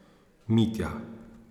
Mitja.